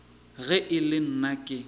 ge e le nna ke